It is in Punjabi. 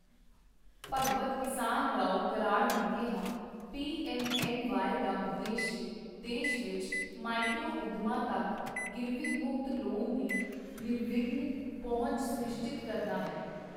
ਭਗਵਤ ਕਿਸਾਨਰਾਓ ਕਰਾੜ ਨੇ ਕਿਹਾ, ਪੀਐੱਮਐੱਮਵਾਈ ਦਾ ਉਦੇਸ਼ ਦੇਸ਼ ਵਿੱਚ ਮਾਈਕਰੋ ਉੱਦਮਾਂ ਤੱਕ ਗਿਰਵੀ ਮੁਕਤ ਲੋਨ ਦੀ ਨਿਰਵਿਘਨ ਪਹੁੰਚ ਸੁਨਿਸ਼ਚਿਤ ਕਰਨਾ ਹੈ।